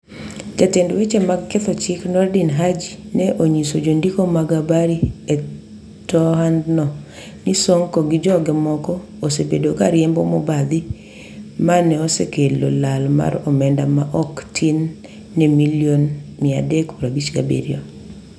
jatend weche mag ketho chik Noordin Haji ne onyiso jondiko mag habari e toandno ni Sonko gi joge moko osevedo ka riembo mobadhi ma neosekelo lal mar omenda ma ok tin ni milion 357